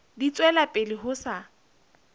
di tswela pele ho sa